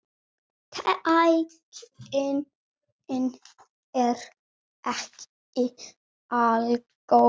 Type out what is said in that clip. Tæknin er ekki algóð.